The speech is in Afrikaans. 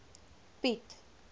piet